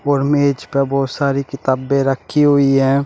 और मेज प बहुत सारी किताबें रखी हुई है।